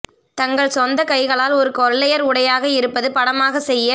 தங்கள் சொந்த கைகளால் ஒரு கொள்ளையர் உடையாக இருப்பது படமாகத் செய்ய